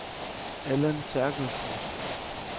Allan Terkelsen